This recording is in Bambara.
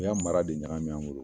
U y'a mara de ɲagami an bolo.